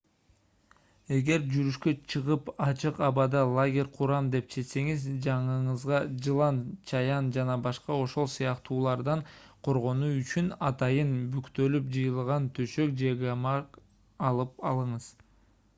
эгер жүрүшкө чыгып ачык абада лагерь курам деп чечсеңиз жаныңызга жылан чаян жана башка ошол сыяктуулардан коргонуу үчүн атайын бүктөлүп жыйылган төшөк же гамак алып алыңыз